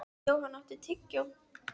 Johan, áttu tyggjó?